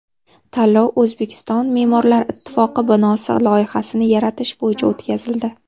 Tanlov O‘zbekiston me’morlar ittifoqi binosi loyihasini yaratish bo‘yicha o‘tkazildi.